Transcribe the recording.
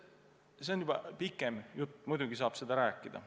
No see on juba pikem jutt, aga muidugi saab seda rääkida.